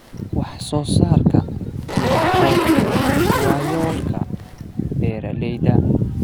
Wax-soo-saarka tiro-koobku waa yoolka beeralayda.